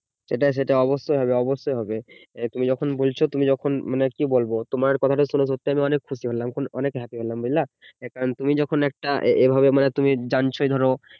সেটাই সেটাই অবশ্যই হবে অবশ্যই হবে তুমি যখন বলছো তুমি যখন মানে কি বলবো তোমার কথাটা শুনে সত্যি আমি খুব খুশি হলাম অনেক happy হলাম বুঝলা কারণ তুমি যখন একটা এভাবে তুমি যখন জান ছোই ধরো